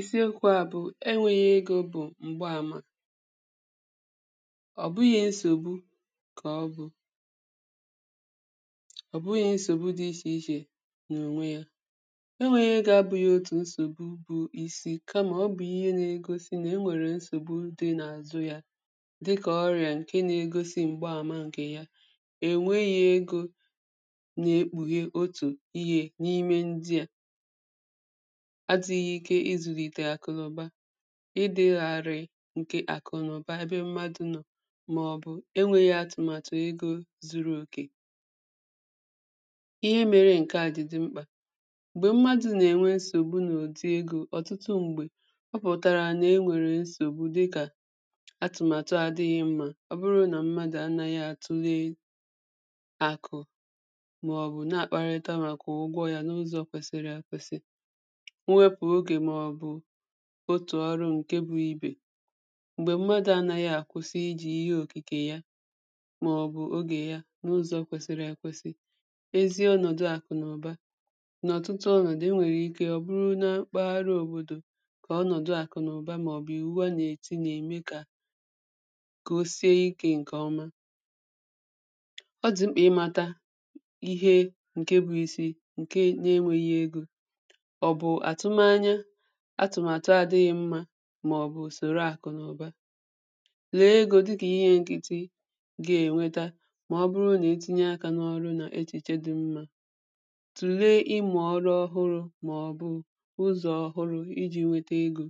isiokwu̇ à bụ̀ e nwèghì egò bụ̀ m̀gbaàmà ọ̀ bụghị nsògbu kà ọ bụ̇ ọ̀ bụghị nsògbu dị iche iche nà ònwè yà e nwèghì egò abụ̇ghì otù nsògbu bụ̇ isi kà mà ọ bụ̀ ihe nà-egosi nà e nwèrè nsògbu dị n’àzụ yà dịkà ọríȧ ǹkè nà-egosi m̀gbaàmà ǹkè ya è nwèghì egò nà èkpùghì otù ihe n’ime ndị à adị̇ghì̇ ike ịzụ̀lìtè akụ̀lụ̀ba, ịdị̇làrị̇ ǹkè àkụ̀nụ̀ba ebe mmadụ̇ nọ màọbụ̀ ènwèghì̇ atụ̀màtụ̀ egò zuru òkè ihe mere ǹkè à jì dị mkpà, mgbè mmadụ̇ nà-ènwe nsògbu nà ò dì egò ọ̀tụtụ, m̀gbè ọ pụ̀tàrà nà e nwèrè nsògbu dịkà atụ̀màtụ àdị̇ghì̇ mmȧ ọ bụrụ nà mmadụ̀ anàghì atụ̀le akụ̀ màọbụ̀ na-àkparíta màkà ụgwọ yà n’ụzọ̇ kwèsìrì àkwèsì, nwepù ogè màọbụ̀ otù ọrụ ǹkè bụ ibè, m̀gbè mmadụ̇ anàghì àkwụsị iji̇ ihe òkìkè ya màọbụ̀ ogè ya n’ụzọ̇ kwèsìrì ekwèsì, ezi ọnọdụ̀ àkụ̀nọ̀ba n’ọ̀tụtụ ọnọ̀dụ̀ e nwèrè ike ọ bụrụ na mkpagharị òbòdò kà ọnọdụ̀ àkụ̀nọ̀ba màọbụ̀ iwu a nà-èti nà-ème kà kà osìe ike ǹkèọma ọ dị̀ mkpà ịmata ihe ǹkè bụ isi ǹkè nà-ewèghì egò, ọ bụ atụ̀m ànyà atụ̀màtụ àdị̇ghì̇ mmȧ màọ̀bụ̀ ùsọ̀rọ̀ àkụ̀ nà ụ̀ba, lèe egò dịkà ihe nkìtì gà-ènweta màọ̀bụ̀rụ̀ nà ètinye akà n’ọrụ nà echìche dị̇ mmȧ, tùlee ịmụ̇ ọrụ ọhụụ̇ màọ̀bụ̀ ụzọ̀ ọhụụ̇ iji̇ nweta egò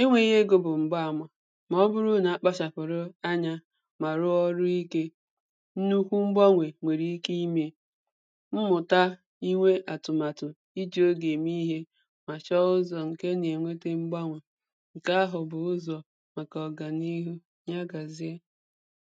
e nwèghì egò bụ̀ m̀gbaàmà màọ̀bụ̀rụ̀ nà-àkpachàpụ̀rụ̀ ànyà mà rụọ ọrụ ikè nnùkwú̇ mgbanwè nwèrè ike imè mmụ̀ta inwe atụ̀màtụ iji̇ oge eme ihe mà chọọ ụzọ ǹkè a gà-ènweta mgbanwe ǹkè àhụ bụ ụzọ̀ màkà ọ̀gànìhù, ya gàzie